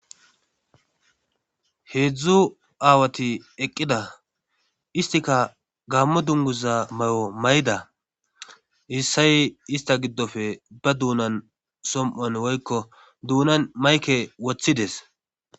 Heedzdzu aawati eqqida istika gammo dunguza may7o may7da issay ista giddofe ba duunan som7an woykko duunan mayke woththides